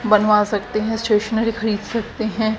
बनवा सकते हैं स्टेशनरी खरीद सकते हैं।